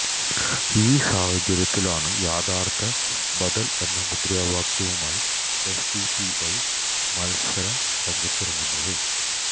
ഈ സാഹചര്യത്തിലാണ് യഥാര്ത്ഥ ബദല് എന്ന മുദ്രാവാക്യവുമായി എസ്ഡിപിഐ മല്സര രംഗത്തിറങ്ങുന്നത്